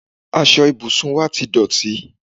aṣọ ìbùsùn wá ti dọ̀tí